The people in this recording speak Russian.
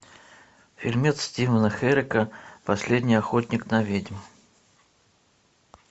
фильмец стивена херека последний охотник на ведьм